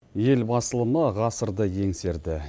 ел басылымы ғасырды еңсерді